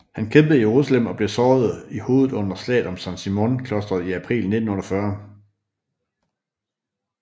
Han kæmpede i Jerusalem og blev såret i hovedet under slaget om San Simon klosteret i april 1948